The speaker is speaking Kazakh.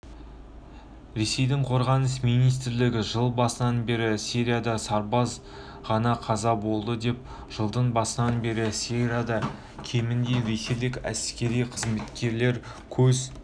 ресейдің қорғаныс министрлігі жыл басынан бері сирияда сарбаз ғана қаза болды деп жылдың басынан бері сирияда кемінде ресейлік әскери қызметкер көз